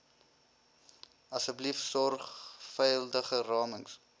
asseblief sorgvuldige ramings